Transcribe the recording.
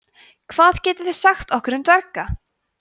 hvað getið þið sagt okkur um dverga